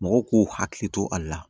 Mɔgɔw k'u hakili to a la